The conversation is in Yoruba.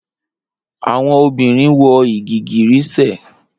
Awọn obirin wọ igigirisẹ